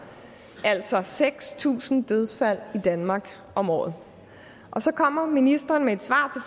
altså seks tusind dødsfald i danmark om året og så kommer ministeren med et svar